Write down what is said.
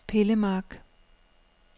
Pillemark